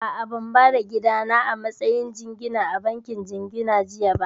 A'a, ban ba da gidana a matsayin jingina a bankin jingina jiya ba